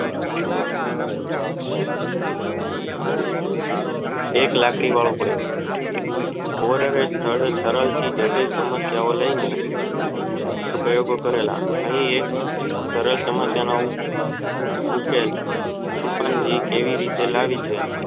એક લાકડી વાળો પ્રયોગ ઓર થી જટિલ સમસ્યા ઓ લાય ને ઉપરાં પ્રયોગો કરેલા અહીં એક સરસ ઉકેલ ચિંપાંઝી કેવી રીતે લાવ્યો